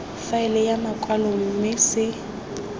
faele ya makwalo mme se